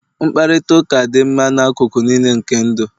mkparịta ụka dị mkpa n'akụkụ niile nke ndụ